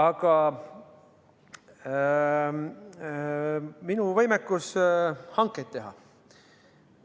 Nüüd minu võimekusest hankeid teha.